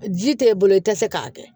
Ji tɛ e bolo i tɛ se k'a kɛ